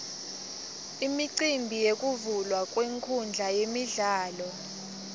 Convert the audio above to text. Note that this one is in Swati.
imicimbi yekuvulwa kwenkhundla yemidlalo